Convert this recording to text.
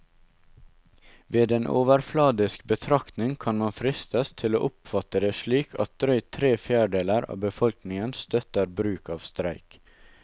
Ved en overfladisk betraktning kan man fristes til å oppfatte det slik at drøyt tre fjerdedeler av befolkningen støtter bruk av streik.